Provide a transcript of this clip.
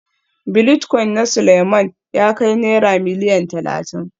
Bilitcoin na Suleiman ya kai Naira Miliyan Talatin